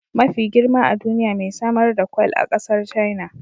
Mafi girma a duniya mai samar da kwal a kasar China